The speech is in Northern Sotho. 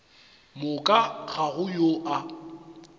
moka ga go yo a